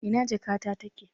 Ina jakata take?